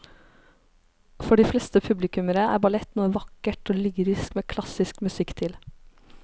For de fleste publikummere er ballett noe vakkert og lyrisk med klassisk musikk til.